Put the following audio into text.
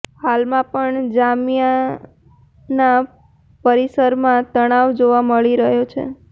હાલમાં પણ જામિયાના પરિસરમાં તણાવ જોવા મળી રહ્યો છે